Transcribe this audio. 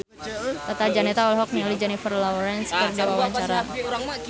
Tata Janeta olohok ningali Jennifer Lawrence keur diwawancara